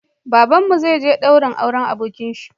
Babanmu zai je daurin auren abokinshi